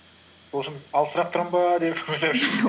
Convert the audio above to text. сол үшін алысырақ тұрамын ба деп ойлап